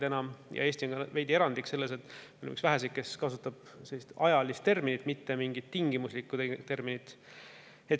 Eesti on ka veidi erandlik selles, et me oleme üks väheseid, kes kasutab sellist ajaterminit, mitte mingit tingimuslikkust.